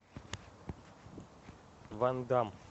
ван дамм